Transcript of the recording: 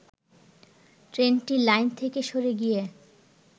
ট্রেনটি লাইন থেকে সরে গিয়ে